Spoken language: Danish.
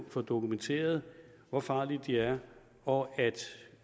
få dokumenteret hvor farlige de er og